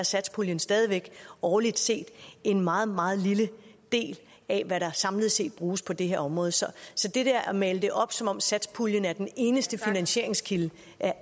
satspuljen stadig væk årligt set en meget meget lille del af hvad der samlet set bruges på det her område så at male det op som om satspuljen er den eneste finansieringskilde